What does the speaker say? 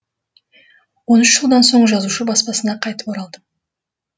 он үш жылдан соң жазушы баспасына қайтып оралдым